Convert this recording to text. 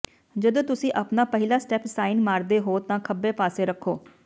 ਜਦੋਂ ਤੁਸੀਂ ਆਪਣਾ ਪਹਿਲਾ ਸਟੈਪ ਸਾਈਨ ਮਾਰਦੇ ਹੋ ਤਾਂ ਖੱਬੇ ਪਾਸੇ ਰੱਖੋ